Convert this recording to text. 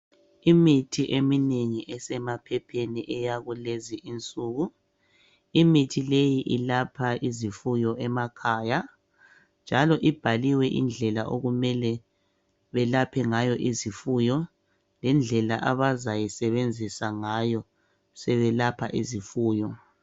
Imithi eminengi esemaphepheni eyakulezi insuku. Imithi leyi ilapha izifuyo emakhaya njalo ibhaliwe indlela okumele belaphe ngayo izifuyo lendlela abazayisebenzisa ngayo sebelapha izifuyo.